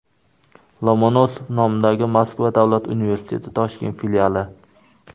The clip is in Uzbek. Lomonosov nomidagi Moskva Davlat universiteti Toshkent filiali.